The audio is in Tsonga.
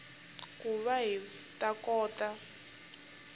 ku va hi ta kota